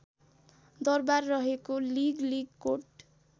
दरबार रहेको लिगलिगकोट